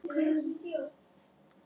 Drengurinn signdi sig.